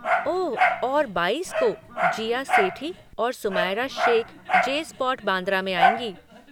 ओह, और बाईस को, जीया सेठी और सुमायरा शेख जे स्पॉट बांद्रा में आएँगी।